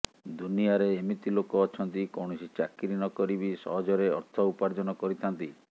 ଦୁନିଆରେ ଏମିତି ଲୋକ ଅଛନ୍ତି କୈାଣସି ଚାକିରୀ ନକରି ବି ସହଜରେ ଅର୍ଥ ଉପାର୍ଜନ କରିଥାନ୍ତି